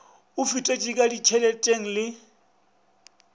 a fetetše ka ditšheleteng le